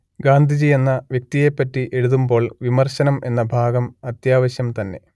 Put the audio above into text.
ഗാന്ധിജി എന്ന വ്യക്തിയെ പറ്റി എഴുതുമ്പോൾ വിമർശനം എന്ന ഭാഗം അത്യാവശ്യം തന്നെ